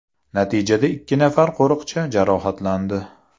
Natijada ikki nafar qo‘riqchi jarohatlandi.